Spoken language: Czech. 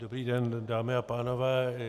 Dobrý den, dámy a pánové.